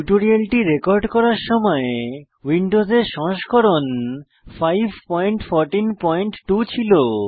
টিউটোরিয়ালটি রেকর্ড করার সময় উইন্ডোজে সংস্করণ 5142 ছিল